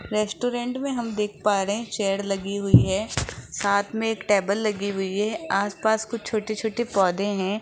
Restaurant में हम देख पा रहे हैं चेयर लगी हुई है साथ में एक टेबल लगी हुई है आसपास कुछ छोटे-छोटे पौधे हैं।